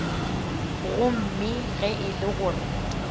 gomme ge e le gore